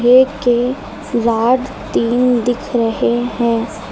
के रॉड तीन दिख रहे हैं।